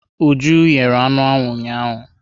Uju yere anụ ụnyahụ.